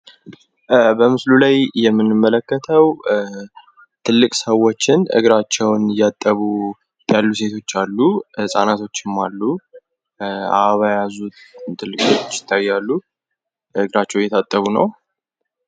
በምስሉ ላይ የምንመለከተው ትልቅ ሰወችን እግራቸውን እያጠቡ ያሉ ሴቶች አሉ ፣ ህጻናቶችም አሉ አበባ የያዙ ትልቆች ይታያሉ ። እግራቸውን እየታጠቡ ነው ።